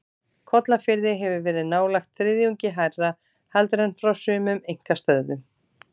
Kollafirði hefur verið nálægt þriðjungi hærra heldur en frá sumum einkastöðvum.